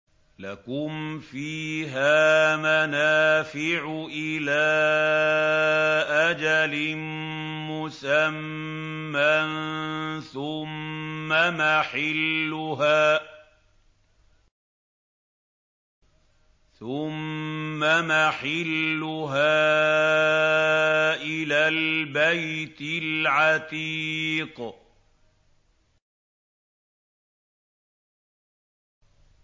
لَكُمْ فِيهَا مَنَافِعُ إِلَىٰ أَجَلٍ مُّسَمًّى ثُمَّ مَحِلُّهَا إِلَى الْبَيْتِ الْعَتِيقِ